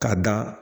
K'a da